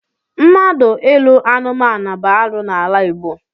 Mmadụ ịlụ anumanu bụ arụ n'ala Igbo.